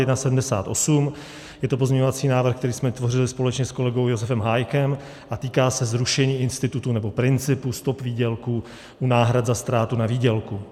Je to pozměňovací návrh, který jsme tvořili společně s kolegou Josefem Hájkem a týká se zrušení institutu nebo principu stop výdělku u náhrad za ztrátu na výdělku.